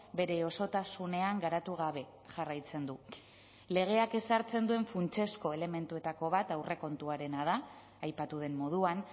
bere osotasunean garatu gabe jarraitzen du legeak ezartzen duen funtsezko elementuetako bat aurrekontuarena da aipatu den moduan